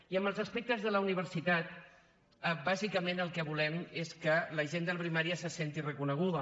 i en els aspectes de la universitat bàsicament el que volem és que la gent de la primària se senti reconeguda